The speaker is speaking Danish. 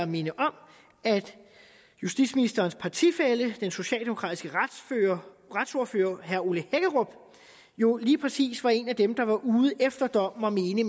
minde om at justitsministerens partifælle den socialdemokratiske retsordfører herre ole hækkerup jo lige præcis var en af dem der var ude efter dommen og mene